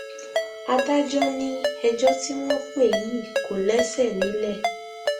adájọ ni ẹjọ tí wọn pè yìí kò lẹsẹ nílẹ